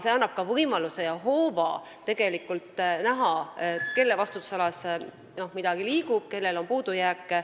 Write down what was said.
See annab ka võimaluse näha, kelle vastutusalas midagi liigub ja kus on puudujääke.